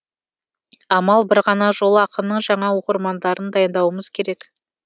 амал бір ғана жол ақынның жаңа оқырмандарын дайындауымыз керек